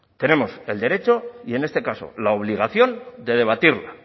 tenemos el derecho y en este caso la obligación de debatirla